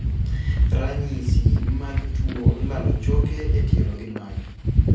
Ranyisi mag tuo lalo choke e tielo gin mage?